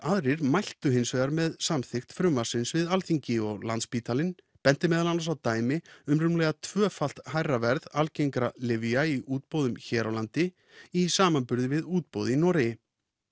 aðrir mæltu hins vegar með samþykkt frumvarpsins við Alþingi og Landspítalinn benti meðal annars á dæmi um rúmlega tvöfalt hærra verð algengra lyfja í útboðum hér á landi í samanburði við útboð í Noregi